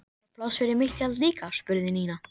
Er pláss fyrir mitt tjald líka? spurði Nína.